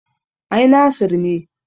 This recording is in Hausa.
Ai Nasir ne